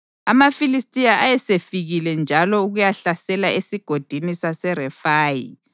AmaFilistiya ayesefikile njalo ukuyahlasela eSigodini saseRefayi;